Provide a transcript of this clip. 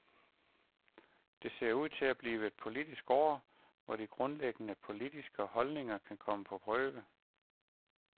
Det ser ud til at blive et politisk år, hvor de grundlæggende politiske holdninger kan komme på prøve.